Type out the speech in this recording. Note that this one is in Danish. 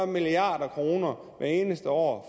milliard kroner hvert eneste år